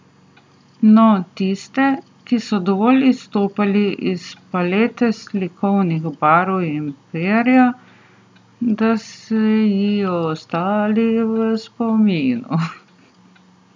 No, tiste, ki so dovolj izstopali iz palete slikovitih barv in perja, da so ji ostali v spominu.